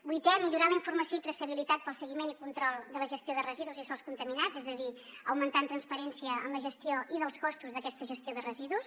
vuitè millorar la informació i traçabilitat pel seguiment i control de la gestió de residus i sòls contaminats és a dir augmentant transparència en la gestió i dels costos d’aquesta gestió de residus